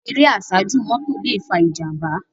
Éré àsájú mòtó lé fá ijàmbá